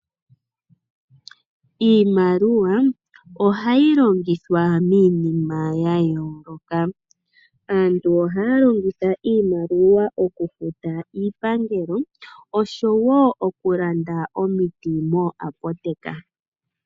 Iimaliwa ohayi longithwa miinima yayooloka. Aantu ohaya longitha iimaliwa okufuta iipangelo osho wo okulanda omiti mooapoteka.